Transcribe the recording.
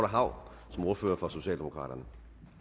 hav som ordfører for socialdemokraterne